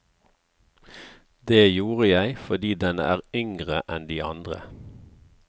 Det gjorde jeg fordi den er yngre enn de andre.